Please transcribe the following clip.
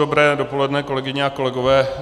Dobré dopoledne, kolegyně a kolegové.